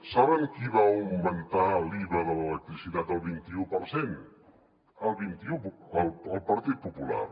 saben qui va augmentar l’iva de l’electricitat al vint i u per cent al vint i u el partit popular